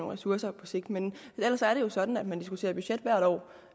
ressourcer på sigt men ellers er det jo sådan at man diskuterer budget hvert år